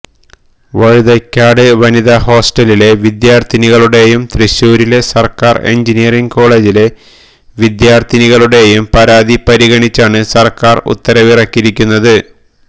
വഴുതയ്ക്കാട് വനിതാ ഹോസ്റ്റലിലെ വിദ്യാര്ത്ഥിനികളുടെയും തൃശൂരിലെ സര്ക്കാര് എഞ്ചിനീയറിംഗ് കോളേജിലെ വിദ്യാര്ത്ഥിനികളുടെയും പരാതി പരിഗണിച്ചാണ് സര്ക്കാര് ഉത്തരവിറക്കിയിരിക്കുന്നത്